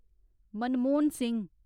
Manmohan Singh